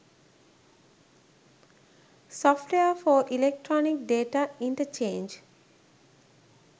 software for electronic data interchange